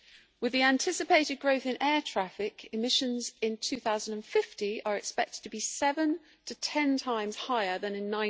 With the anticipated growth in air traffic, emissions in 2050 are expected to be seven to ten times higher than in